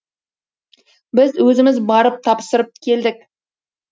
біз өзіміз барып тапсырып келдік